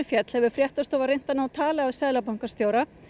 féll hefur fréttastofa reynt að ná tali af seðlabankastjóra